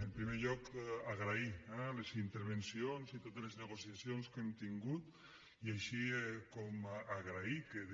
en primer lloc agrair les intervencions i totes les negociacions que hem tingut i així com agrair que